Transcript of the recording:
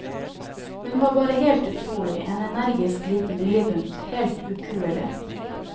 Hun var bare helt utrolig, en energisk liten viljebunt, helt ukuelig.